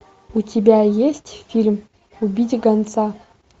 у тебя есть фильм убить гонца